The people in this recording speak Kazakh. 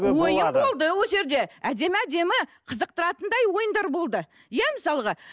ойын болды ол жерде әдемі әдемі қызықтыратындай ойындар болды иә мысалға